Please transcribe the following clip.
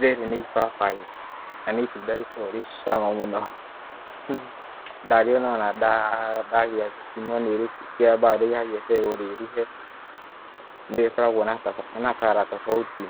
Rĩrĩ nĩ ibabaĩ, na nĩ itunda rĩkoragwo rĩ cama mũno, ndariona ndakorwo no rĩkaba rĩgagĩeterwo rĩeruhe, ni rĩkoragwo na color tobauti